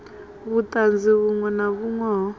vhutanzi vhunwe na vhunwe ho